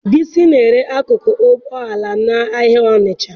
Bisi na-ere akụkụ ụgbọ ala n'ahịa Onisha.